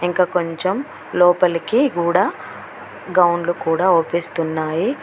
ఇంక కొంచం లోపలకి గూడ గౌన్లు కూడా అవ్పిస్తున్నాయి.